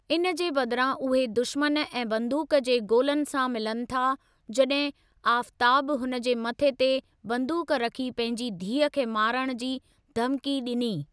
इन जे बदिरां उहे दुश्मन ऐं बंदूक जे गोलनि सां मिलनि था जॾहिं आफ़ताबु हुन जे मथे ते बंदूक रखी पंहिंजी धीअ खे मारणु जी धमकी ॾिनी।